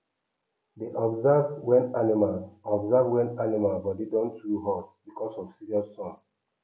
dey observe wen animals observe wen animals body don too hot because of serious sun